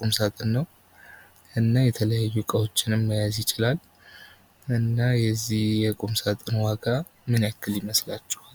ቁም ሳጥን ነዉ። እና የዚህ ቁም ሳጥን ዋጋ ምን ያህል ይመስላችኋል?